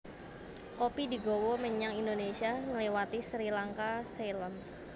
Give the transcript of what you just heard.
Kopi digawa menyang Indonésia ngliwati Sri Lanka Ceylon